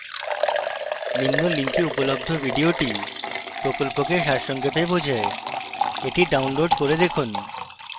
নিম্ন link উপলব্ধ video প্রকল্পকে সারসংক্ষেপে বোঝায় the download করে দেখুন